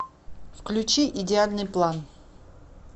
включи идеальный план